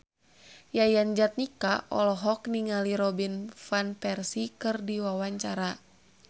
Yayan Jatnika olohok ningali Robin Van Persie keur diwawancara